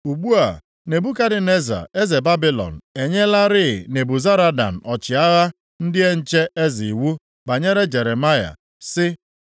Ugbu a, Nebukadneza eze Babilọn enyelarị Nebuzaradan ọchịagha ndị nche eze iwu banyere Jeremaya, sị,